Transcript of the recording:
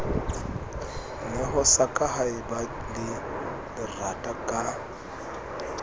neho sa kahaeba le lerataka